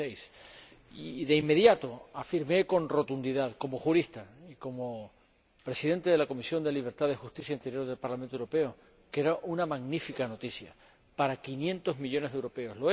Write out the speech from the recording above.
2006. Y, de inmediato, afirmé con rotundidad, como jurista, como Presidente de la Comisión de Libertades Civiles, Justicia y Asuntos de Interior del Parlamento Europeo, que era una magnífica noticia para 500 millones de europeos.